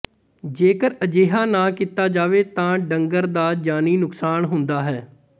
ਜੇਕਰ ਅਜਿਹਾ ਨਾ ਕੀਤਾ ਜਾਵੇ ਤਾਂ ਡੰਗਰ ਦਾ ਜਾਨੀ ਨੁਕਸਾਨ ਹੁੰਦਾ ਹੈ